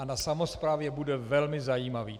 A na samosprávě bude velmi zajímavý.